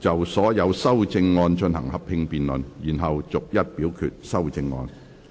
就所有修正案進行合併辯論，然後逐一表決修正案。